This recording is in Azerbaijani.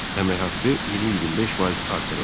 Əmək haqqı 20-25% artırıldı.